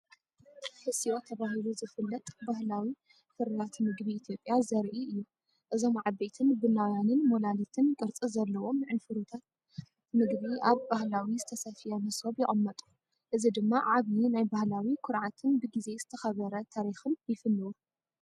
"ሕስዮ" ተባሂሉ ዝፍለጥ ባህላዊ ፍርያት ምግቢ ኢትዮጵያ ዘርኢ እዩ። እዞም ዓበይትን ቡናውያንን ሞላሊትን ቅርጺ ዘለዎም ዕንፍሩራት መግቢ ኣብ ባህላዊ ዝተሰፍየ መሶብ ይቕመጡ። እዚ ድማ ዓቢ ናይ ባህላዊ ኩርዓትን ብግዜ ዝተኸበረ ታሪኽን ይፍንው!